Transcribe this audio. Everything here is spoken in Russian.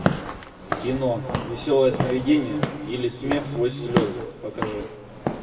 кино веселое сновидение или смех сквозь слезы покажи